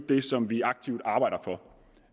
det som vi aktivt arbejder for